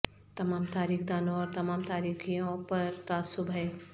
تمام تاریخ دانوں اور تمام تاریخوں پر تعصب ہے